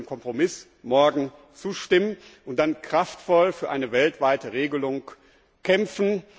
Wir sollten dem Kompromiss morgen zustimmen und dann kraftvoll für eine weltweite Regelung kämpfen.